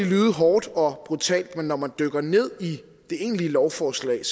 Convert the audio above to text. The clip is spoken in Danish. lyde hårdt og brutalt men når man dykker ned i det egentlige lovforslag